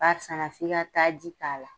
A sanna f'i ka taa ji k'a la